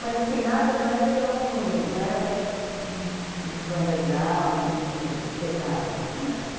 Mas, assim, nada, não era tão, não era back, assim, muito underground, muito pesado, assim, era um back.